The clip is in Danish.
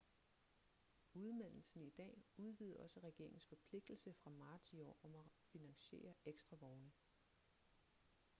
udmeldelsen i dag udvidede også regeringens forpligtelse fra marts i år om at finansiere ekstra vogne